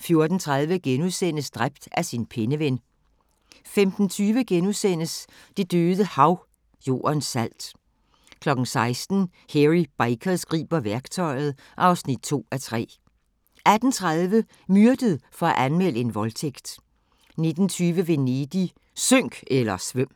14:30: Dræbt af sin penneven * 15:20: Det døde Hav – Jordens salt * 16:00: Hairy Bikers griber værktøjet (2:3) 18:30: Myrdet for at anmelde en voldtægt 19:20: Venedig – synk eller svøm!